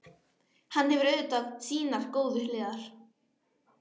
Hann hefur auðvitað sínar góðu hliðar.